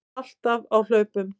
Alltaf á hlaupum.